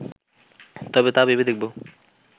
তবে তা ভেবে দেখব